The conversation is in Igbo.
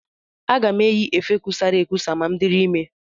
Aga m eyi efe kusara ekusa ma m dịrị ime.